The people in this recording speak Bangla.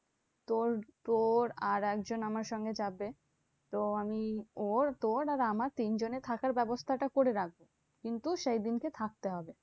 তোর তোর আর একজন আমার সঙ্গে যাবে। তো আমি ওর তোর আর আমার তিনজনের থাকার ব্যাবস্থাটা করে রাখবো। কিন্তু সেই দিনকে থাকতে হবে।